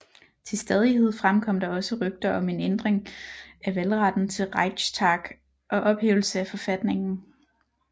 Til stadighed fremkom der også rygter om en ændring af valgretten til Reichstag og ophævelse af forfatningen